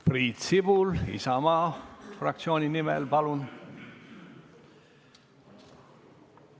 Priit Sibul Isamaa fraktsiooni nimel, palun!